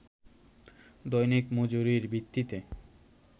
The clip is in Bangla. দৈনিক মজুরির ভিত্তিতে